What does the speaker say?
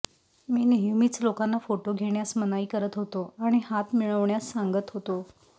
मी नेहमीच लोकांना फोटो घेण्यास मनाई करत होतो आणि हात मिळवण्यास सांगत होतो